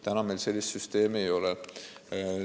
Täna meil sellist süsteemi ei ole.